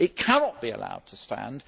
It cannot be allowed to stand.